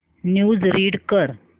news read कर